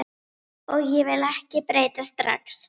Og ég vil ekki breytast strax.